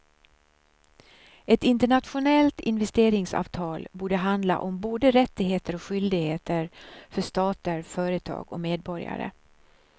Ett internationellt investeringsavtal borde handla om både rättigheter och skyldigheter för stater, företag och medborgare.